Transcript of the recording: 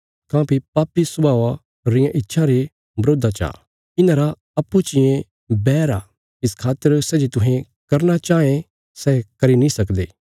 काँह्भई पापी स्वभावा रियां इच्छां पवित्र आत्मा रे वरोधा ची कने पवित्र आत्मा पापी स्वभावा रियां इच्छां रे वरोधा चा इन्हांरा अप्पूँ चियें बैर आ इस खातर सै जे तुहें करना चाँये सै करी नीं सकदे